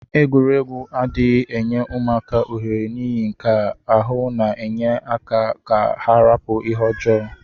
Egwuregwu adighi enye ụmaka ohere nihi nkea ahu ọna enye aka ka ha rapu ihe ọjọ.